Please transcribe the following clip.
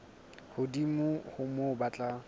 hodimo ho moo ba tla